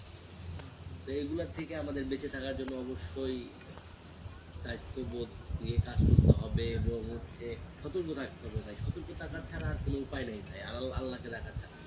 সেই গুলো থেকে আমাদের বেঁচে থাকার জন্য অবশ্যই দায়িত্ববোধ দিয়ে কাজ করতে হবে এবং হচ্ছে সতর্ক থাকতে হবে ভাই সতর্ক থাকা ছাড়া আর কোনো উপায় নেই ভাই আ আল্লাহকে ডাকা ছাড়া